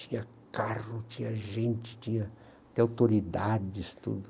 Tinha carro, tinha gente, tinha até autoridades, tudo.